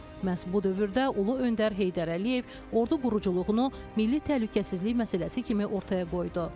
Məhz bu dövrdə ulu öndər Heydər Əliyev ordu quruculuğunu milli təhlükəsizlik məsələsi kimi ortaya qoydu.